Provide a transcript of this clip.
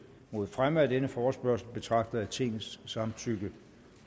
mod fremme af denne forespørgsel betragter jeg tingets samtykke